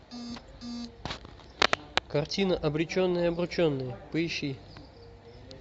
картина обреченные обрученные поищи